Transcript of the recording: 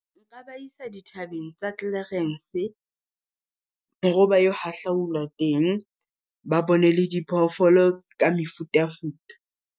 Nka ba isa dithabeng tsa Clarens, ho re ba yo hahlaula teng. Ba bone le diphoofolo ka mefutafuta.